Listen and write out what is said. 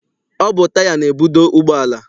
Ọ bụ taya na-ebudo ụgbọala.